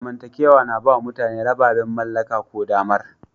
Zamantakewa na ba wa mutane rababen mallaka ko damar.